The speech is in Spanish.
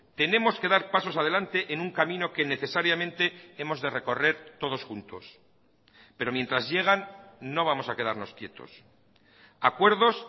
tenemos que dar pasos adelante en un camino que necesariamente hemos de recorrer todos juntos pero mientras llegan no vamos a quedarnos quietos acuerdos